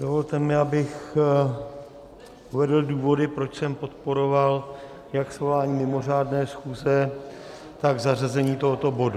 Dovolte mi, abych uvedl důvody, proč jsem podporoval jak svolání mimořádné schůze, tak zařazení tohoto bodu.